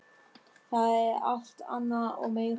Það er alt annað og meira.